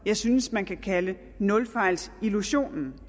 jeg synes man kan kalde nulfejlsillusionen